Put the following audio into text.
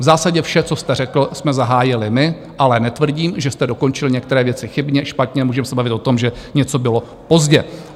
V zásadě vše, co jste řekl, jsme zahájili my, ale netvrdím, že jste dokončil některé věci chybně, špatně, můžeme se bavit o tom, že něco bylo pozdě.